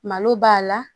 Malo b'a la